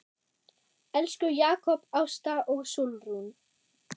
Elsku Jakob, Ásta og Sólrún.